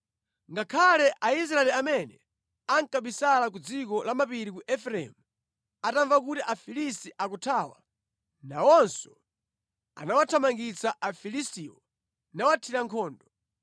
Ngakhale Aisraeli amene ankabisala ku dziko lamapiri la Efereimu atamva kuti Afilisti akuthawa, nawonso anawathamangitsa Afilistiwo nawathira nkhondo.